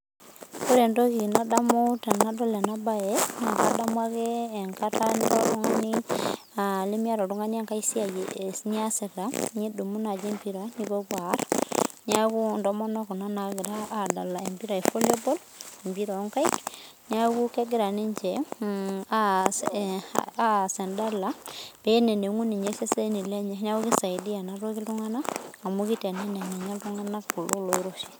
Wore entoki nadamu tenadol ena baye, naa kadamu ake enkata nilo oltungani nimiata oltungani ai siai niasita, nidumu naaji empira nipopuo aarr. Neeku intomonok kuna naagira aadala empira e volleyball empira oonkaik. Neeku kekira ninche aas endala, pee enenengu ninye iseseni lenye. Neeku kisaidia enatoki iltunganak, amu kiteneneng ninye iltunganak kulo loiroshi.